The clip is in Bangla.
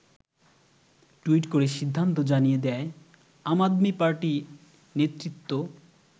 টুইট করে সিদ্ধান্ত জানিয়ে দেয় আম আদমি পার্টি নেতৃত্ব।